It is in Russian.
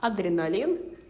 адреналин